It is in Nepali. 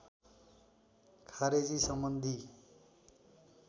खारेजी सम्बन्धि